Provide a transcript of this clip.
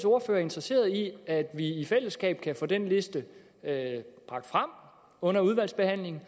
ordfører er interesseret i at vi i fællesskab kan få den liste bragt frem under udvalgsbehandlingen